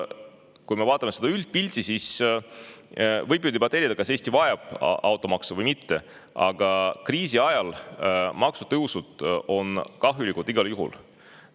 Kui me vaatame seda üldpilti, siis võib ju debateerida, kas Eesti vajab automaksu või mitte, aga kriisi ajal on maksutõusud kahjulikud igal juhul.